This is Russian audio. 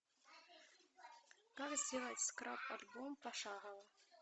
как сделать скрап альбом пошагово